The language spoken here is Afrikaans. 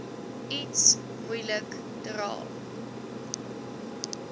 iets moeilik dra